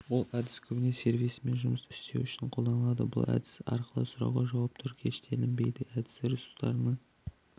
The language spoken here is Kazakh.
бұл әдіс көбіне сервисімен жұмыс істеу үшін қолданылады бұл әдіс арқылы сұрауға жауаптар кэштелінбейді әдісі ресурсының